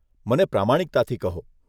મને પ્રમાણિકતાથી કહો.